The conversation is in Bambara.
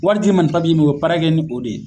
Wariti cir'i ma ni ni min ye, u bi baara kɛ ni o de ye